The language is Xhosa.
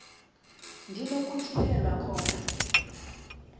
ndi nokutyhilelwa khona